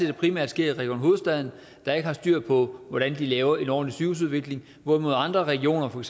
det primært sker i region hovedstaden der ikke har styr på hvordan de laver en ordentlig sygehusudvikling hvorimod andre regioner for